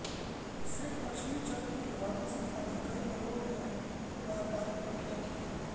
सेठ लक्ष्मीचन्द की वाराणसी आदि कई नगरों में व्यापारिक कोठियाँ थीं